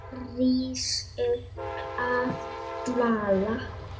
Rís upp af dvala.